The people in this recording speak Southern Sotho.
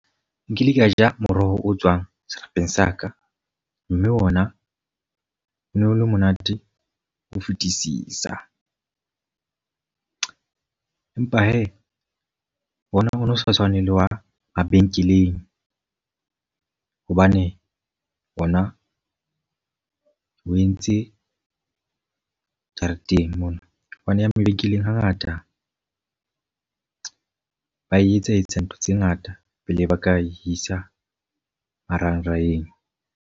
Nkile ka ja moroho o tswang serapeng sa ka. Mme ona o no le monate ho fetisisa. Empa he, ona o no sa tshwaneng le wa mabenkeleng. Hobane ona o entse jareteng mona. Hobane ya mabenkeleng ha ngata ba e etsetsa ntho tse ngata pele ba ka isa marangrangeng.